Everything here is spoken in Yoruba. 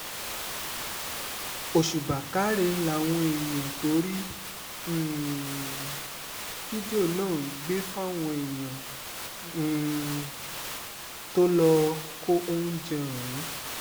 òṣùbà káre làwọn èèyàn tó rí um fídíò náà ń gbé fáwọn èèyàn um tó lọ́ọ́ kó oúnjẹ ọ̀hún